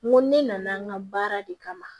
N ko ne nana n ka baara de kama